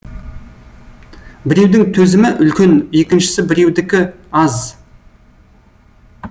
біреудің төзімі үлкен екінші біреудікі аз